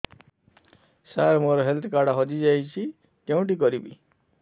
ସାର ମୋର health card ହଜି ଯାଇଛି କେଉଁଠି କରିବି